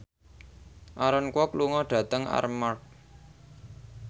Aaron Kwok lunga dhateng Armargh